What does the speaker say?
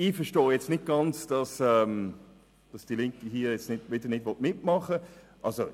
Ich verstehe nun nicht ganz, dass die Linke hier wieder nicht mitmachen will.